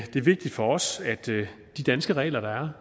det er vigtigt for os at de danske regler der